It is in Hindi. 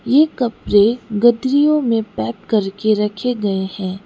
ये कपड़े गठरियों में पैक करके रखे गए हैं।